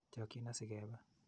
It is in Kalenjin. Chokchin asi kepe.